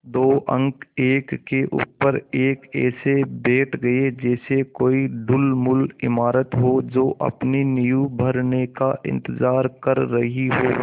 दो अंक एक के ऊपर एक ऐसे बैठ गये जैसे कोई ढुलमुल इमारत हो जो अपनी नींव भरने का इन्तज़ार कर रही हो